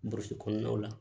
Burusi kɔnɔnaw la